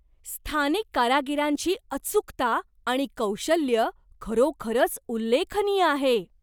स्थानिक कारागिरांची अचूकता आणि कौशल्य खरोखरच उल्लेखनीय आहे.